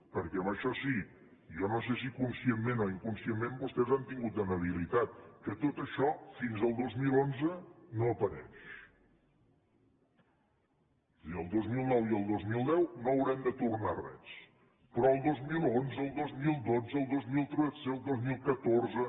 perquè en això sí i jo no sé si conscientment o inconscientment vostès han tingut una habilitat que tot això fins al dos mil onze no apareix és a dir el dos mil nou i el dos mil deu no haurem de tornar res però el dos mil onze el dos mil dotze el dos mil tretze el dos mil catorze